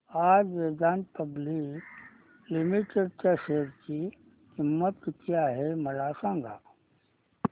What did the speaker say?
आज Vedanta public limited च्या share ची किंमत किती आहे मला सांगा